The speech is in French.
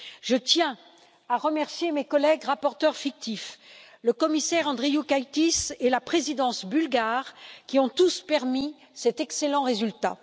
Je tiens à remercier mes collègues rapporteurs fictifs, le commissaire Andriukaitis et la présidence bulgare, qui ont tous permis d'obtenir cet excellent résultat.